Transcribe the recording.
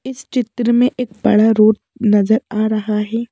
इस चित्र में एक बड़ा रोड नजर आ रहा हैं।